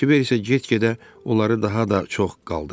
Kiver isə get-gedə onları daha da çox qaldırırdı.